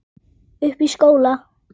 Uppi í skóla?